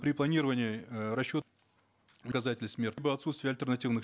при планировании э расчет либо отутствие альтернативных